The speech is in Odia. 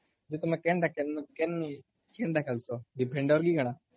ଯେ ତମେ କେନ୍ତା ଖେଲସ? defender ନ କଣ?